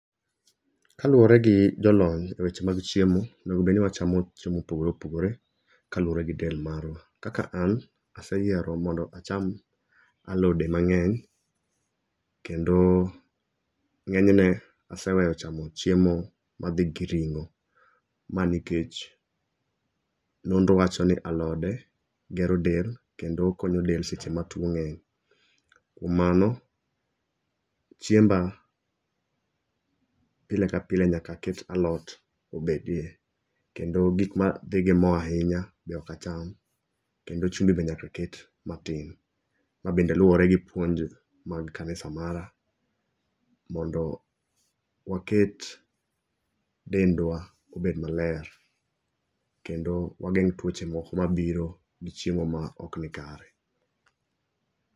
Kaluwore gi jolony e weche mag chiemo, onego bed ni wachamo chiemo mopogore opogore kaluwore gi del marwa. Kaka an, aseyiero mondo acham alode mang'eny kendo ng'enyne aseweyo chamo chiemo madhi gi ring'o. Ma nikech nonro wacho ni alode gero del kendo konyo del seche ma tuwo ng'eny. Kuom mano, chiemba pile kapile nyaka aket alod obedie. Kendo gik madhi gi mo ahinya ok acham, kendo chumbi be nyaka ket matin mabende luwore gi puonj mar kanisa mara, mondo waket dendwa obed maler. Kendo wageng' tuwoche moko mabiro gi chiemo ma ok nikare.